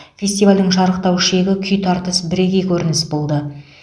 фестивальдің шарықтау шегі күй тартыс бірегей көрінісі болды